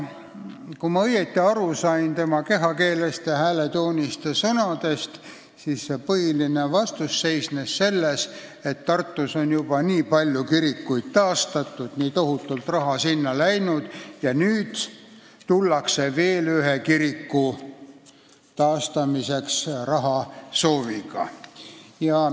Kui ma õigesti aru sain tema sõnadest, kehakeelest ja hääletoonist, siis vastus seisnes selles, et Tartus on juba nii palju kirikuid taastatud, nii tohutult raha sinna läinud, ja nüüd tullakse veel ühe kiriku taastamiseks rahasooviga.